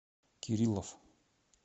кириллов